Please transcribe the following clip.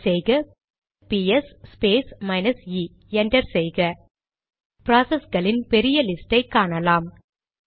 type செய்கபிஎஸ் space minus இe enter செய்க ப்ராசஸ்களின் பெரிய லிஸ்ட் ஐ காணலாம்